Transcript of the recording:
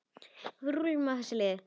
Við rúllum á þessu liði.